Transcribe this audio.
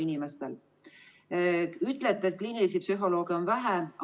Te ütlete, et kliinilisi psühholooge on vähe.